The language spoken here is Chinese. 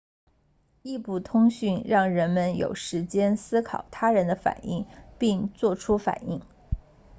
异步通讯让人们有时间思考他人的反应并作出反应